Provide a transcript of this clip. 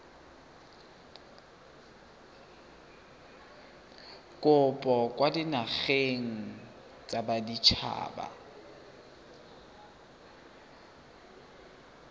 kopo kwa dinageng tsa baditshaba